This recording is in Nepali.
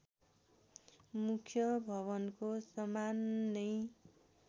मुख्य भवनको समान नै